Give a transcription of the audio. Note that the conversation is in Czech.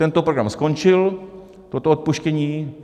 Tento program skončil, toto odpuštění.